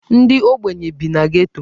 Ndị ogbenye bi na Geto.